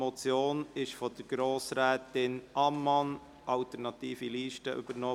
Die Motion wurde von Grossrätin Ammann, AL, übernommen.